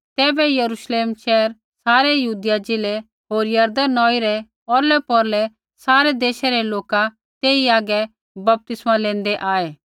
तैबै यरूश्लेम शैहरा सारै यहूदिया ज़िलै होर यरदन नौई रै औरलैपौरलै सारै देशै रै लोका तेई हागै बपतिस्मा लेंदै आऐ